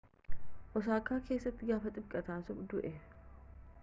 osaakaa keessatti gaafa kibxataa du'e